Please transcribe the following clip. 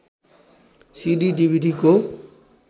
CD डिभिडीको